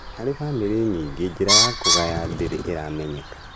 Harĩ bamĩrĩ nyingĩ, njĩra ya kũgaya ndĩrĩ ĩramenyeka